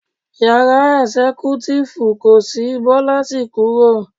Yàrá ẹ̀sẹ́kútífù kò sì, Bọ́lá sì kúrò.